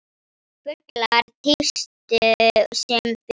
Fuglar tístu sem fyrr.